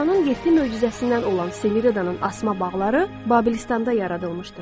Dünyanın yeddi möcüzəsindən olan Semiramidanın asma bağları Babilistanda yaradılmışdı.